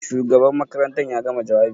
Shugaban makarantar ya gama jawabi?